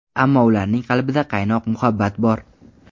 Ammo ularning qalbida qaynoq muhabbati bor.